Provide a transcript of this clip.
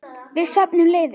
Við söfnum liði.